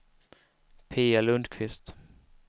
Pia Lundkvist